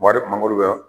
mangoro bɛ